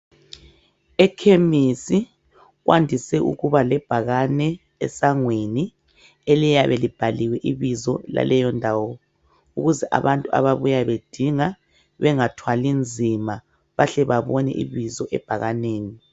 Ekhemisi, kwandise ukuba lebhakane, esangweni. Eliyabe libhaliwe ibizo laleyondawo. Ukwenzela ukuthi abantu abayabe bebuya bedinga. Bangathwali nzima. Bahle babone ibizo ebhakaneni.